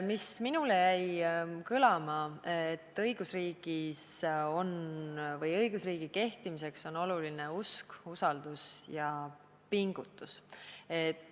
Mis minule jäi kõlama, on see, et õigusriigi kehtimiseks on oluline usk, usaldus ja pingutus.